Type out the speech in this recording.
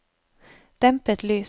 dempet lys